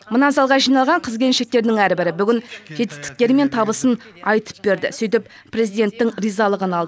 мына залға жиналған қыз келіншектердің әрбірі бүгін жетістіктері мен табысын айтып берді сөйтіп президенттің ризалығын алды